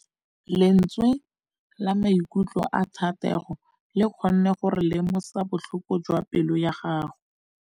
Lentswe la maikutlo a Thategô le kgonne gore re lemosa botlhoko jwa pelô ya gagwe.